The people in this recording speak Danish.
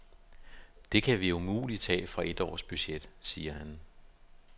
Det kan vi umuligt tage fra et års budget, siger han.